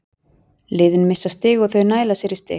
Liðin missa stig og þau næla sér í stig.